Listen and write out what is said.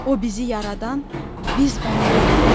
O bizi yaradan, biz ona bəndə.